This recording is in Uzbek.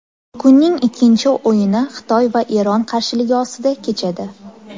Kunning ikkinchi o‘yini Xitoy va Eron qarshiligi ostida kechadi.